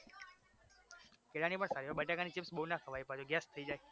કેળાની પણ સારી હોય બટેકાની chips બવ ના ખવાય બાકી gas થઈ જાય